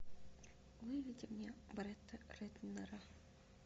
выведи мне бретта рэтнера